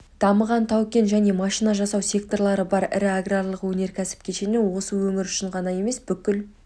дамыған тау-кен және машина жасау секторлары бар ірі аграрлық-өнеркәсіп кешені осы өңір үшін ғана емес бүкіл